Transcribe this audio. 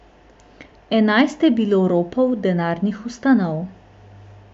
Enajst je bilo ropov denarnih ustanov.